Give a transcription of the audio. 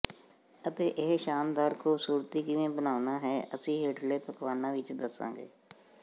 ਅਤੇ ਇਹ ਸ਼ਾਨਦਾਰ ਖੂਬਸੂਰਤੀ ਕਿਵੇਂ ਬਣਾਉਣਾ ਹੈ ਅਸੀਂ ਹੇਠਲੇ ਪਕਵਾਨਾਂ ਵਿਚ ਦੱਸਾਂਗੇ